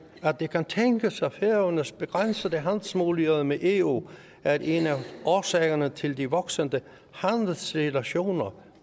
det kan tænkes at færøernes begrænsede handelsmuligheder med eu er en af årsagerne til de voksende handelsrelationer